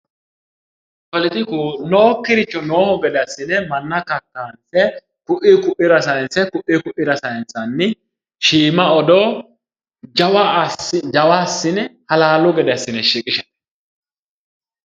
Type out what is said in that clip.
Poletiku nookkiricho noo gede assine manna kakkaysate ku'uyi ku'uyira sayinsanni shiima odoo jawa assine halaalu gede assine shiqisha